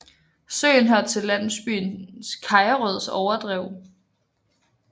Søen hørte til landsbyen Kajerøds overdrev